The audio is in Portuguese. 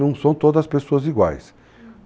Não são todas as pessoas iguais. Uhum.